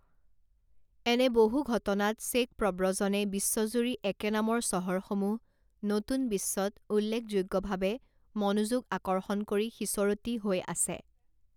এনে বহু ঘটনাত চেক প্ৰব্ৰজনে বিশ্বজুৰি একেনামৰ চহৰসমূহ নতুন বিশ্বত উল্লেখযোগ্যভাৱে মনোযোগ আকৰ্ষণ কৰি সিঁচৰতি হৈ আছে।